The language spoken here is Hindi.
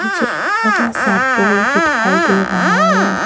ये एक बड़ा सा टोर भी दिखाई दे रहा है।